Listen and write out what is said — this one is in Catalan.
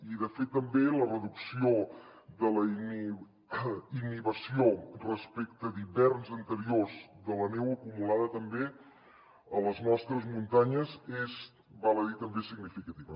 i de fet també la reducció de la innivació respecte d’hiverns anteriors de la neu acumulada també a les nostres muntanyes és val a dir també significativa